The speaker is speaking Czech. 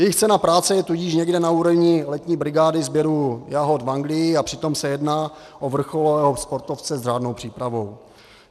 Jejich cena práce je tudíž někde na úrovni letní brigády sběru jahod v Anglii, a přitom se jedná o vrcholového sportovce s řádnou přípravou.